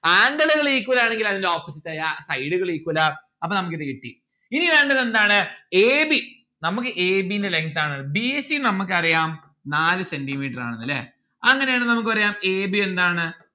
angle ഉകൾ equal ആണെങ്കിൽ അതിന്റ opposite ആയ side ഉകൾ equal ആ അപ്പം നമ്മുക്ക് ഇത് കിട്ടി ഇനി വേണ്ടത് എന്താണ് a b നമ്മുക്ക് a b ന്റെ length ആണ് b c നമ്മുക്ക് അറിയാം നാല് centi metre ആണ് ന്ന്‌ ല്ലേ അങ്ങനെ ആണ് നമ്മുക്ക് പറയാം a b എന്താണ്